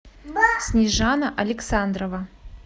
снежана александрова